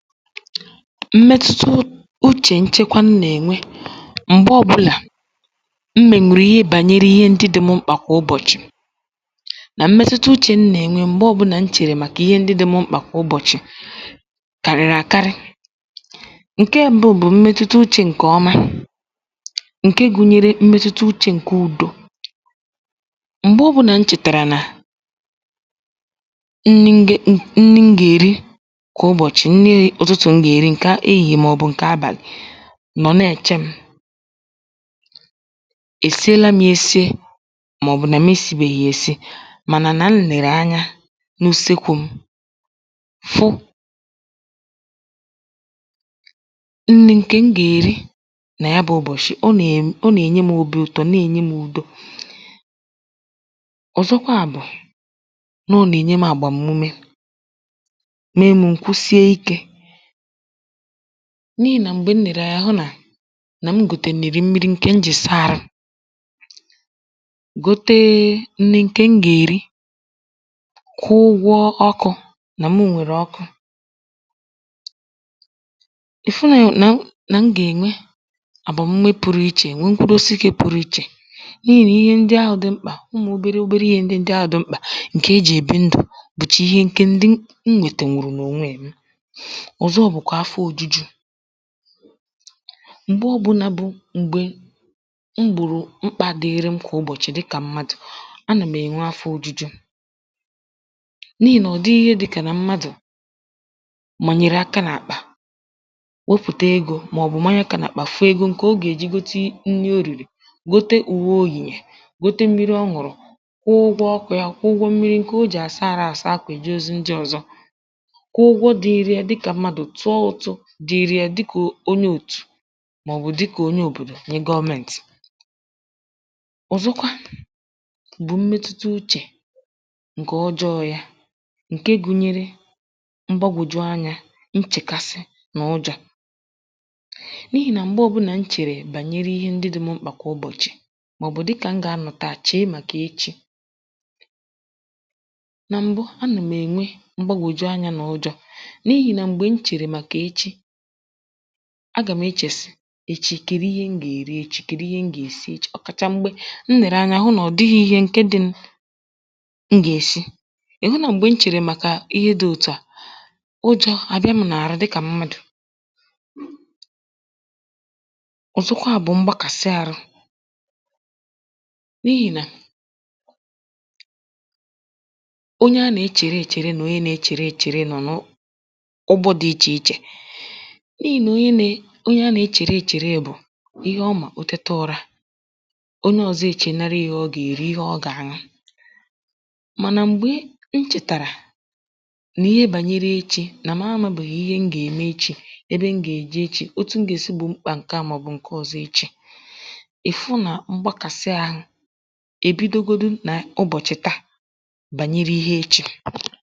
mmetuta uchè nchekwa m nà-ènwe m̀gbe ọ̄bụ̄là m mènwùrù ihe gbànyere ihe ndị dị̄ m mkpà kà ụbọ̀chị̀ nà mmetuta uchè m nà-ènwe m̀gbe ọ̄bụ̄nà m chèrè màkà ihe ndị dị̄ m mkpà kà ubọ̀chị̀ kàrị̀rị̀ àkarị ǹke m̄bụ̄ bụ̀ mmetuta uchē ǹkè ọma ǹke gụ̄nyērē mmetuta uchē ǹke ūdō m̀gbe ọ̄bụ̄nà m chètàrà nà nni nge nni m gà-èri kà ụbọ̀chị̀ nni ụ̀tụtụ̀ m gà-èri ǹkè ehìhiè màọ̀bụ̀ ǹkè abàlị̀ nọ̀ na-èche m̄ èsiela m̄ yā esie màọ̀bụ̀ nà m esībèghì yà èsi mànà nà m lèrè anya n’usekū m̄ fụ nni ǹkè m gà-èri nà ya bụ̄ ụbọ̀shị̀ ọ nè ọ nà-ènye m̄ obī ụ̀tọ na-ènye m̄ udo ọ̀zọkwa bụ̀ nà ọ nà-ènye m̄ àgbàmume mee mụ̄ m̀ kusie ikē n’ihì nà m̀gbè m lèrè anya hụ nà nà m gòtènìrì mmiri ǹkè m jì saa ārụ̄ gote nni ǹkè m gà-èri kwụ ụgwọ ọkụ̄ nà mụ nwèrè ọkụ ị fụ̀ nà nà m gà-ènwe àgbàmume pụ̄rụ̄ ichè nwe mkpụrụ osi ǹke pụ̄rụ̄ ichè n’ihì nà ihe ndị ahụ̄ dị mkpà ụmụ̀ obere obere ihē ndị ndị ahụ̄ dị mkpà ǹkè ejì èbi ndụ̀ bụ̀chà ihe ǹkè ndị m nwètènwùrù nà ònwe m̄ ọ̀zọ bụ̀kwà afọ ōjūjū m̀gbe ọ̄bụ̄nà bụ m̀gbè m gbòrò mkpā dịrị m kà ụbọ̀chị̀ dịkà m̀madụ̀ anụ̀ m̀ ènwe afọ ōjūjū n’ihì nà ọ̀ dịghị ihe dị̄kà nà mmadụ̀ mànyèrè aka n’àkpà wopùta egō màọ̀bụ̀ manye akā n’àkpà fụ egō ǹkè ọ gà-èji gote nni o rìrì gote ùwe o yèrì gote mmiri ọ ñụ̀rụ̀ kwụọ ụgwọ ọkụ̄ yā kwụọ ụgwọ mmiri ǹkè o jì àsa àrụ àsa akwà èje ozi ndị ọ̄zọ̄ kwụ ụgwọ dị̄rị̄ yā dịkà mmadụ̀ tụọ ụ̀tụ dị̄rị̄ yā dịkà onye òtù màọ̀bụ̀ dịkà onye òbòdò nye gọment ọ̀zọkwa bụ̀ mmetuta uchè ǹkè ọjọọ̄ yā ǹke gụ̄nyērē mgbagòju anyā nchèkasị nà ụjọ̄ n’ihì nà m̀gbe ọ̄bụ̄nà m chèrè gbànyere ihe ndị dị̄ m̄ mkpà gbànyere kà ụbọ̀chị̀ màọ̀bụ̀ dịkà m gà-anọ̀ taà chèe màkà echi nà m̀bụ anà m̀ ènwe mgbagòju anyā nà ụjọ̄ n’ihì nà m̀gbè m chèrè màkà echi agà m̀ echè sị echi kèdu ihe m gà-èri echī kèdu ihe m gà-èsi echī ọ̀ kàchà m̀gbè m lèrè anya hụ nà ọ̀ dịghị̄ īhē ǹke dị̄ m̄ m gà-èsi ị̀ hụ nà m̀gbè m chèrè màkà ihe dị̄ òtu à ụjọ̄ àbịa m̄ nà-àrụ dịkà mmadụ̀ ọ̀zọkwa bụ̀ mgbakàsị ārụ̄ n’ihì nà onye a nà-echèrè èchère nà onye nā-echere èchère nọ̀ n’ụgbọ dị̄ ichè ichè n’ihì nà onye nē onye a nà-echèrè èchère bụ̀ ihe ọ maà ò tete ụ̄rā onye ọ̄zọ̄ èchènarị yā ihe ọ gà-èri ihe ọ gà-àñụ mànà m̀gbe m chètàrà nà ihe gbànyere echī nà m amābèghì ihe m gà-ème echī ebe m gà-èje echī otu m gà-èsi gbù mkpā ǹke à màọ̀bụ̀ ǹke ọ̄zọ̄ echī ị̀ fụ nà mgbakàsị āhụ̄ èbidogodu nà ụbọ̀chị̀ taà gbànyere ihe echī